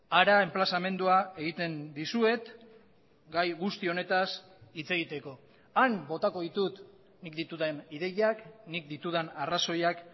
hara enplazamendua egiten dizuet gai guzti honetaz hitz egiteko han botako ditut nik ditudan ideiak nik ditudan arrazoiak